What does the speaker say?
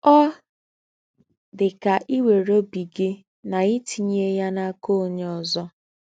Ọ dị ka iwere obi gị na itinye ya n'aka onye ọzọ.